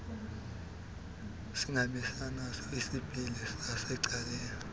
singabinaso isipili sasecaleni